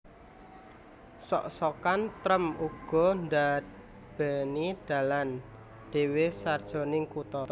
Sok sokan trèm uga ndarbèni dalan dhéwé sajroning kutha